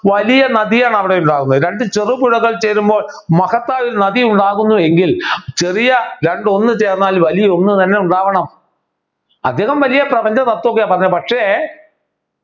വലിയ നദിയാണ് അവിടെ ഉണ്ടാവുന്നത് രണ്ടു ചെറു പുഴകൾ ചേരുമ്പോൾ മഹത്തായ ഒരു നദി ഉണ്ടാകുന്നു എങ്കിൽ ചെറിയ രണ്ട് ഒന്ന് ചേർന്നാൽ വലിയ ഒന്ന് തന്നെ ഉണ്ടാവണം അദ്ദേഹം വലിയ പ്രപഞ്ച തത്വ ഒക്കെയാ പറഞ്ഞെ പക്ഷേ